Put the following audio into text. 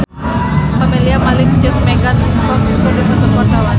Camelia Malik jeung Megan Fox keur dipoto ku wartawan